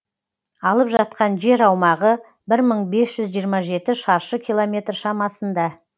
алып жатқан жер аумағы бір мың бес жүз жиырма жеті шаршы километр шамасында